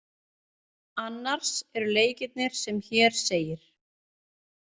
Annars eru leikirnir sem hér segir.